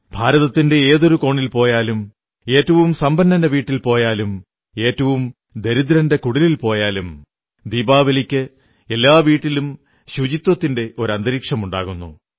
ഭാരതത്തിന്റെ ഏതൊരു കോണിൽ പോയാലും ഏറ്റവും സമ്പന്നന്റെ വീട്ടിൽ പോയാലും ഏറ്റവും ദരിദ്രന്റെ കുടിലിൽ പോയാലും ദീപാവലിക്ക് എല്ലാ വീട്ടിലും ശുചിത്വത്തിന്റെ ഒരു അന്തരീക്ഷമുണ്ടാകുന്നു